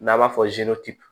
N'a b'a fɔ